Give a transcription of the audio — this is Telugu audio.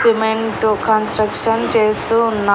సిమెంట్ కన్స్ట్రక్షన్ చేస్తూ ఉన్నా.